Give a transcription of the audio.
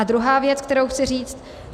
A druhá věc, kterou chci říct.